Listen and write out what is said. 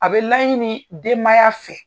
A bɛ laɲini denmaya fɛ.